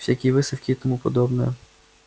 всякие выставки и тому подобное